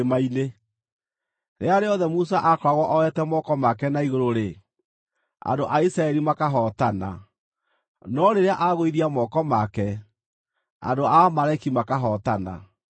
Rĩrĩa rĩothe Musa akoragwo oete moko make na igũrũ-rĩ, andũ a Isiraeli makahootana, no rĩrĩa agũithia moko make, andũ a Amaleki makahootana.